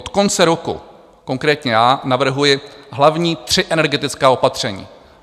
Od konce roku konkrétně já navrhuji hlavní tři energetická opatření.